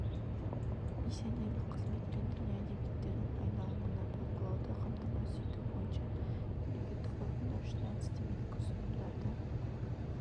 миссионерлік қызмет пен діни әдебиеттердің айналымына бақылауды қамтамасыз ету бойынша мемлекеттік органдар үшін әдістемелік ұсынымдарды